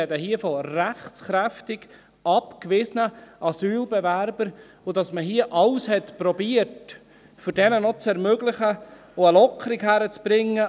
wir sprechen hier von rechtskräftig – abgewiesenen Asylbewerbern noch zu ermöglichen, eine Lockerung hinzukriegen.